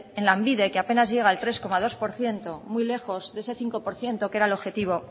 en lanbide que apenas llega al tres coma dos por ciento muy lejos de ese cinco por ciento que era el objetivo